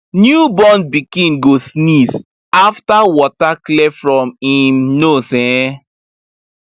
new born pikin go sneeze after water clear from im um nose um